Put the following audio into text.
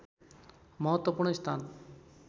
महत्त्वपूर्ण स्थान